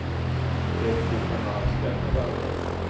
Jóhannes: Eruð þið svona að skeggræða það?